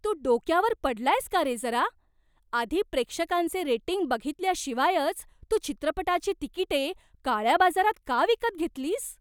तू डोक्यावर पडलायस का रे जरा? आधी प्रेक्षकांचे रेटिंग बघितल्याशिवायच तू चित्रपटाची तिकिटे काळ्या बाजारात का विकत घेतलीस?